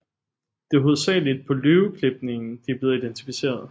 Det er hovedsageligt på løveklipningen de er blev identificeret